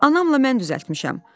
Anamla mən düzəltmişəm.